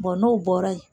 n'o bɔra yen